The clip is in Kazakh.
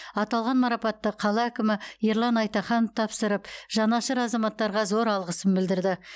аталған марапатты қала әкімі ерлан айтаханов тапсырып жанашыр азаматтарға зор алғысын білдірді